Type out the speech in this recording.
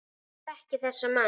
Ég þekki þessa menn.